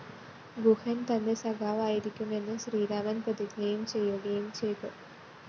ഗുഹന്‍ തന്റെ സഖാവായിരിക്കുമെന്ന് ശ്രീരാമന്‍ പ്രതിജ്ഞയും ചെയ്യുകയും ചെയ്തു